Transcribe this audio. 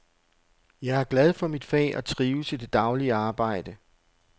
Jeg er glad for mit fag og trives i det daglige arbejde.